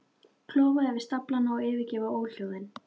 Klofa yfir staflana og yfirgefa óhljóðin.